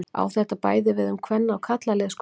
Á þetta bæði við um kvenna- og karlalið skólans.